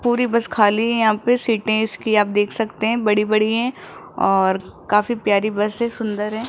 पूरी बस खाली है यहां पे सीटे इसकी आप देख सकते है बड़ी बड़ी हैं और काफी प्यारी बस है सुंदर हैं।